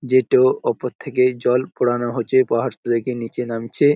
যেটো উপর থাকে জল পড়ানো হচ্ছে। পাহাড় থেকে নিচে নামছে।